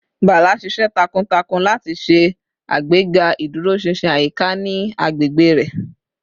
Bala ṣiṣẹ takuntakun lati ṣe agbega iduroṣinṣin ayika ni agbegbe rẹ